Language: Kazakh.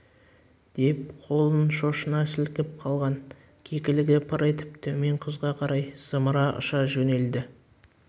деп қолын шошына сілкіп қалған кекілігі пыр етіп төмен құзға қарай зымырап ұша жөнелді